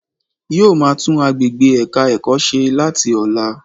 Yóò máa tún agbègbè ẹ̀ka ẹ̀kọ́ se láti ọ̀la